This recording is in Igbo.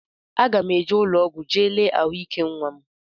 Aga m eje ụlọọgwụ jee lee ahụike nnwa m